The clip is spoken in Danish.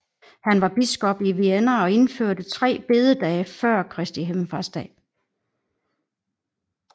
Han var biskop i Vienne og indførte tre bededage før Kristi Himmelfartsdag